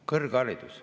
Kõrgharidus.